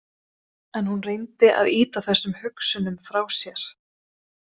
En hún reyndi að ýta þessum hugsunum frá sér.